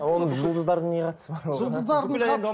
а оның жұлдыздардың не қатысы бар оған жұлдыздардың қатысы